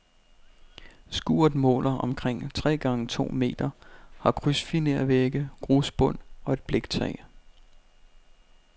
Skuret måler omkring tre gange to meter, har krydsfinervægge, grusbund og et bliktag.